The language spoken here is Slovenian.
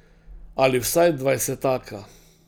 Ali vsaj dvajsetaka.